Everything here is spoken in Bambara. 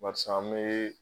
Baeisa, an bi